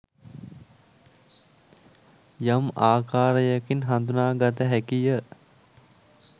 යම් ආකාරයකින් හඳුනාගත හැකිය.